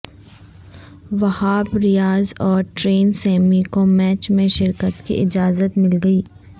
وہاب ریاض اور Darren Sammy کو match میں شرکت کی اجازت مل گئی